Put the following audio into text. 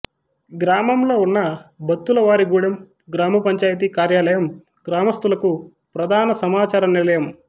గ్రామంలో ఉన్న బత్తులవారిగూడెం గ్రామ పంచాయతీ కార్యాలయం గ్రామస్తులకు ప్రధాన సమాచార నిలయము